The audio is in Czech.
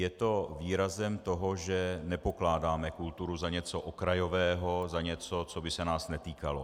Je to výrazem toho, že nepokládáme kulturu za něco okrajového, za něco, co by se nás netýkalo.